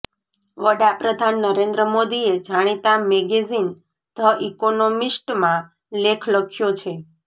વડાપ્રધાન નરેન્દ્ર મોદીએ જાણિતા મેગેઝિન ધ ઇકોનમિસ્ટમાં લેખ લખ્યો છે